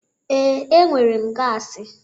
Ee, enwere m gasi,